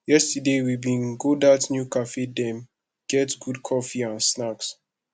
yesterday we bin go dat new cafe dem get good coffee and snacks